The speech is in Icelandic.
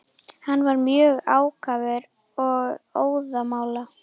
Hann var mjög ákafur og óðamála.